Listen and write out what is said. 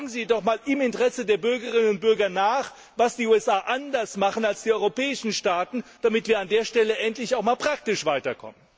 Fragen Sie doch einmal im Interesse der Bürgerinnen und Bürger nach, was die USA anders als die europäischen Staaten machen, damit wir an der Stelle endlich auch praktisch weiterkommen!